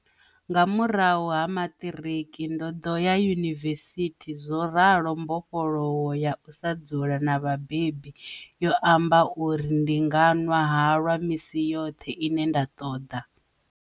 Nga murahu ha maṱiriki, ndo ḓo ya yunivesithi zworalo mbofholowo ya u sa dzula na vhabebi yo amba uri ndi nga nwa halwa misi yoṱhe ine nda ṱoḓa.